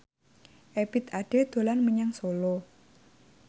Ebith Ade dolan menyang Solo